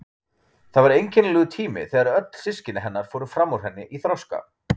Það var einkennilegur tími þegar öll systkini hennar fóru fram úr henni í þroska.